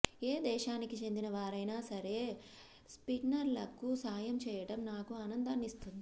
ఏ దేశానికి చెందిన వారైనా సరే స్పిన్నర్లకు సాయం చేయడం నాకు ఆనందాన్నిస్తుంది